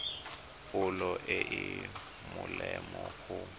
pholo e e molemo go